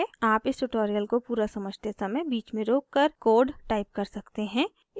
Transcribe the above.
आप इस ट्यूटोरियल को पूरा समझते समय बीच में रोककर कोड टाइप कर सकते हैं